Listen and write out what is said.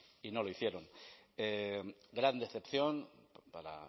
y no lo hicieron gran decepción para